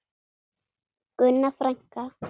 Gunna frænka.